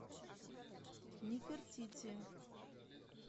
нефертити